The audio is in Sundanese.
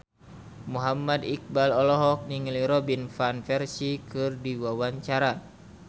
Muhammad Iqbal olohok ningali Robin Van Persie keur diwawancara